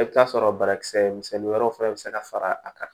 I bɛ t'a sɔrɔ banakisɛ misɛnnin wɛrɛw fana bɛ se ka fara a kan